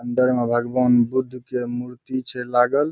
अंदर म भगवान बुद्ध के मूर्ति छे लागल।